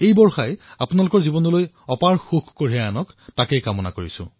এই বাৰিষাই যাতে আপোনালোকক নিৰন্তৰে সুখ প্ৰদান কৰক এয়াই মোৰ কামনা